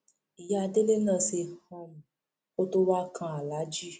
ìyá délé náà ṣe um kó tóó wáá kan aláàjì